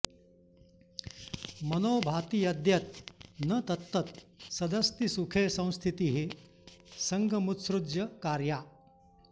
मनो भाति यद्यत् न तत्तत् सदस्ति सुखे संस्थितिः संगमुत्सृज्य कार्या